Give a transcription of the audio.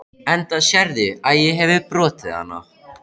Enda sérðu að ég hefi brotið hana.